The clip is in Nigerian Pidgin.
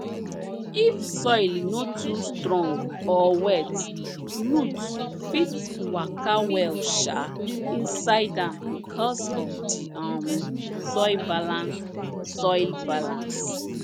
if soil no too strong or wet roots fit waka well um inside am because of di um soil balance soil balance